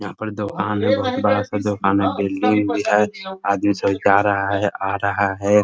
यहाँ पर दुकान है। बहोत बड़ा सा दुकान है। बिल्डिंग भी है। आदमी सब जा रहा है आ रहा है।